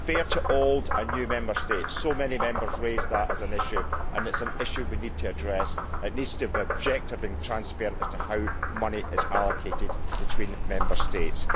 fair to old and new Member States so many Members raised that as an issue, and it is an issue we need to address. It needs to be objective and transparent as to how money is allocated between Member States.